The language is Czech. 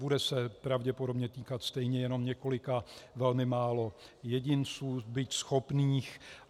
Bude se pravděpodobně týkat stejně jenom několika velmi málo jedinců, byť schopných.